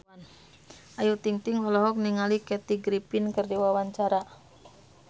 Ayu Ting-ting olohok ningali Kathy Griffin keur diwawancara